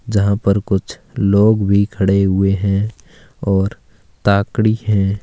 जहा पर कुछ लोग भी खड़े हुए हैं और ताक रही हैं।